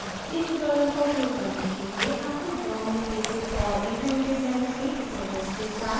इस tutorial का उपयोग करने के लिए आपको draw में basic और intermediate level के tutorials के साथ परिचित होना चाहिए